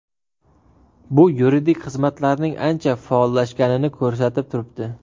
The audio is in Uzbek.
Bu yuridik xizmatlarning ancha faollashganini ko‘rsatib turibdi.